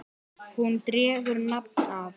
Hún dregur nafn af